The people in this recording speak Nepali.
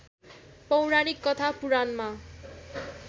पौराणिक कथा पुराणमा